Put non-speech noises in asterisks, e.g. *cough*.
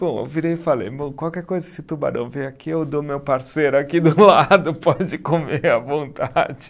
Bom, eu virei e falei, bom, qualquer coisa esse tubarão vir aqui, eu dou meu parceiro aqui do lado, *laughs* pode comer à vontade.